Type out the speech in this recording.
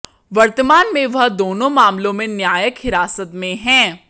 वर्तमान में वह दोनों मामलों में न्यायिक हिरासत में हैं